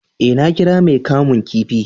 eh, na kira mai kamun kifi